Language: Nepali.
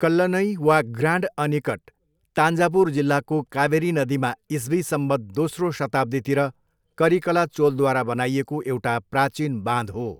कल्लनई वा ग्रान्ड अनिकट तान्जावुर जिल्लाको कावेरी नदीमा इस्वी संवत् दोस्रो शताब्दीतिर करिकला चोलद्वारा बनाइएको एउटा प्राचिन बाँध हो।